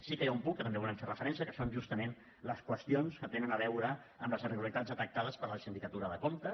sí que hi ha un punt que també hi volem fer referència que són justament les qüestions que tenen a veure amb les irregularitats detectades per la sindicatura de comptes